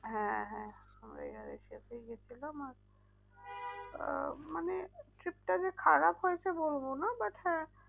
হ্যাঁ হ্যাঁ আমরা air asia তেই গিয়েছিলাম আর আহ মানে trip টা যে খারাপ হয়েছে বলবো না but হ্যাঁ